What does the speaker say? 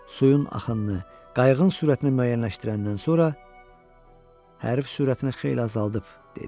Suyun axınını, qayığın sürətini müəyyənləşdirəndən sonra hərəkət sürətini xeyli azaldıb dedi: